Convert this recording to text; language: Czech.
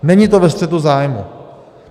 Není to ve střetu zájmů.